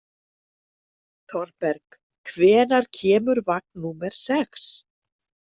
Þorberg, hvenær kemur vagn númer sex?